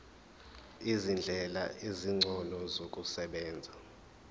izindlela ezingcono zokusebenza